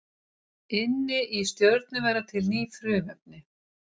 Inni í stjörnum verða til ný frumefni.